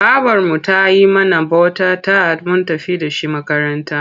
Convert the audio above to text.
Babarmu ta yi mana bota-tat mun tafi da shi makaranta.